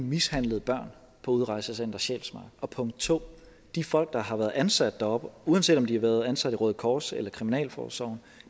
mishandlet børn på udrejsecenter sjælsmark og punkt 2 de folk der har været ansat deroppe uanset om de har været ansat i røde kors eller kriminalforsorgen